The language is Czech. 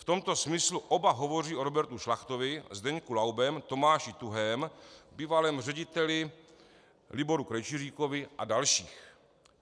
V tomto smyslu oba hovoří o Robertu Šlachtovi, Zdeňku Laubem, Tomáši Tuhém, bývalém řediteli Liboru Krejčiříkovi a dalších.